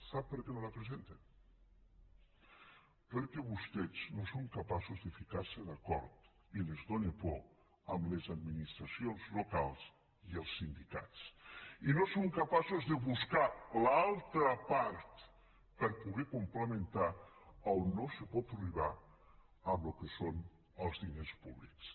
sap per què no la presenta perquè vostès no són capaços de ficar se d’acord i els fa por amb les administracions locals i els sindicats i no són capaços de buscar l’altra part per poder complementar a on no se pot arribar amb el que són els diners públics